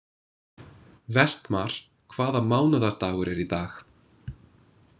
Vestmar, hvaða mánaðardagur er í dag?